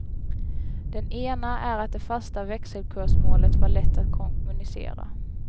Den ena är att det fasta växelkursmålet var lätt att kommunicera.